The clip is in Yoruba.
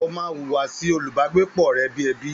Ó má hùwà sí olùbágbépọ̀ rẹ̀ bi ẹbí